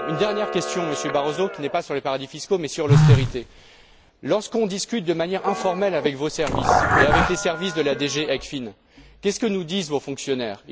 Une dernière question, Monsieur Barroso, qui ne porte pas sur les paradis fiscaux, mais sur l'austérité. Lorsque nous discutons de manière informelle avec vos services et les services de la DG ECFIN, que nous disent vos fonctionnaires?